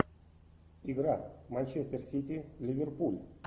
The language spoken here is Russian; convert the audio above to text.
игра манчестер сити ливерпуль